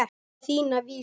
Á þína vísu.